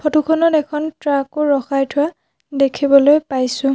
ফটোখনত এখন ট্ৰাকও ৰখাই থোৱা দেখিবলৈ পাইছোঁ।